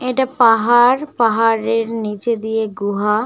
এটা একটা পাহাড়। পাহাড়ের নিচে দিয়ে গুহা ।